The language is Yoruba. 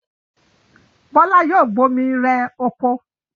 Bọ́lá yoo bomi rẹ oko.